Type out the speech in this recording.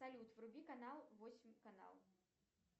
салют вруби канал восемь канал